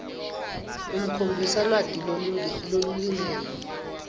ukhombisa lwati lolulingene